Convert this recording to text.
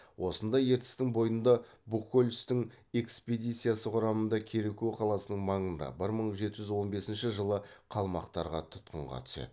осында ертістің бойында бухгольцтің экспедициясы құрамында кереку қаласының маңында бір мың жеті жүз он бесінші жылы қалмақтарға тұтқынға түседі